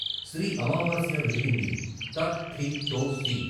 శ్రీ అమావాస్య వెలిగింది త, థి, తో, సి